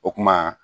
O kuma